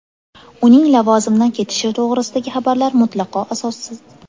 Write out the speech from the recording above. Uning lavozimdan ketishi to‘g‘risidagi xabarlar mutlaqo asossiz.